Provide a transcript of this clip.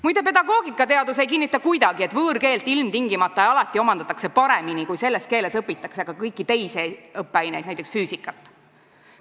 Muide, pedagoogikateadus ei kinnita kuidagi, et võõrkeelt ilmtingimata ja alati omandatakse paremini, kui selles keeles õpitakse ka kõiki teisi õppeaineid, näiteks füüsikat.